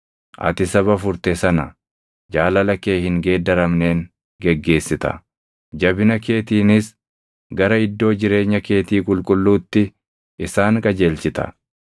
Ati saba furte sana, jaalala kee hin geeddaramneen geggeessita. Jabina keetiinis gara iddoo jireenya keetii qulqulluutti isaan qajeelchita.